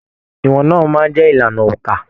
Ìwọn náà máa n jẹ ìlànà óńka.